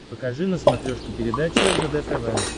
покажи на смотрешке передачу ржд тв